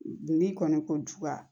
N'i kɔni ko juba